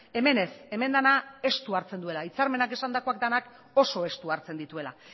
hemen ez hemen dena estu hartzen duela hitzarmenak esandakoak denak oso estu hartzen dituela